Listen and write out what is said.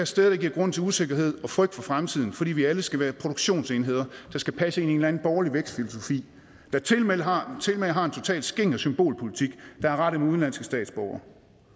sted der giver grund til usikkerhed og frygt for fremtiden fordi vi alle skal være produktionsenheder der skal passe ind anden borgerlig vækstfilosofi der tilmed har har en totalt skinger symbolpolitik der er rettet mod udenlandske statsborgere